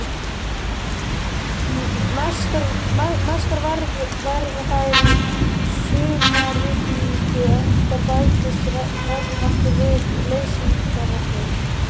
Mestar verða þær í sumarrigningum enda bætist regnvatnið við leysingarvatnið.